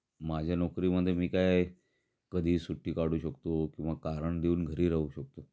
माझ्या नोकरी मध्ये मी काय, कधीही सुट्टी काढू शकतो किंवा कारण देऊन घरी राहू शकतो